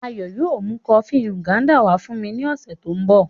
Ayo yóò mu kofi Nganda wa fun mi ni ọsẹ to nbọ.